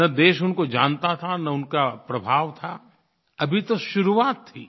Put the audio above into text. न देश उनको जानता था न उनका प्रभाव था अभी तो शुरुआत थी